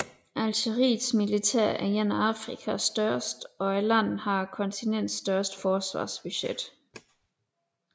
Algeriets militær er et af Afrikas største og landet har kontinentets største forsvarsbudget